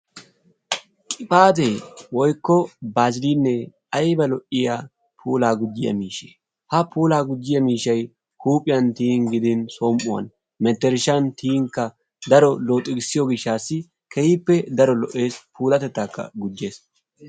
qibaate woykko baaziliine keehi lo'iya, puulaa gujjiya miishsha. ha puulaa gujjiya miishay somuwan gidin huuphiyan mentershan tiyinkka daro looxigisiyo gishaassi, keehippe daro lo'eess, puulatettaaakka gujjes.